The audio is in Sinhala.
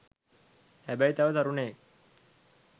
හැබැයි තව තරුණයෙක්